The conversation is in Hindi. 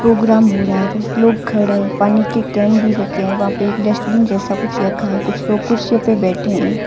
प्रोग्राम हो रहा है जस्ट लोग खड़े हैं पानी के केन भी रखे हैं वहां पे एक डस्टबिन जैसा कुछ रखा है कुछ लोग कुर्सियों पे बैठे हैं।